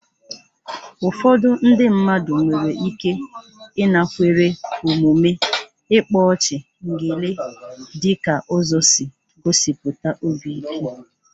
Ụfọdụ ndị mmadụ nwere ike ịnakwere omume ịkpa ọchị/ngele dị ka ụzọ isi gosipụta obi ike.